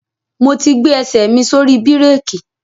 Mo ti gbé ẹsẹ̀ mi sórí bírèkì.